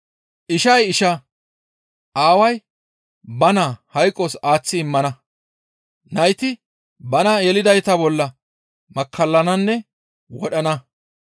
«Ishay ishaa, aaway ba naa hayqos aaththi immana; nayti bana yelidayta bolla makkallananne wodhana.